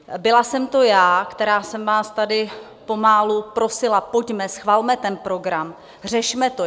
Byla jsem to já, která jsem vás tady pomalu prosila: Pojďme, schvalme ten program, řešme to.